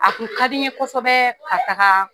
A kun ka di n ye kosɛbɛ ka taga